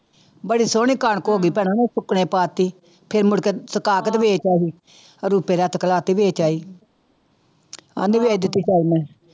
ਬੜੀ ਸੋਹਣੀ ਕਣਕ ਉਹ ਵੀ ਭੈਣਾ ਮੈਂ ਸੁੱਕਣੇ ਪਾ ਦਿੱਤੀ, ਫਿਰ ਮੁੜਕੇ ਸੁਕਾ ਕੇ ਤੇ ਵੇਚ ਆਈ ਵੇਚ ਆਈ ਕਹਿੰਦੀ ਵੀ